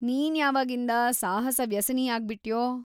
ನೀನ್ಯಾವಾಗಿಂದ ಸಾಹಸ ವ್ಯಸನಿಯಾಗ್ಬಿಟ್ಯೋ?